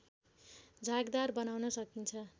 झागदार बनाउन सकिन्छ